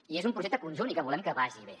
i és un projecte conjunt i que volem que vagi bé